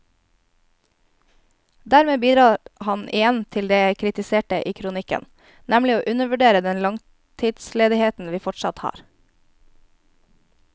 Dermed bidrar han igjen til det jeg kritiserte i kronikken, nemlig å undervurdere den langtidsledigheten vi fortsatt har.